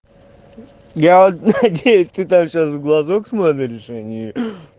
я надеюсь ты там сейчас в глазок смотришь а ни ээ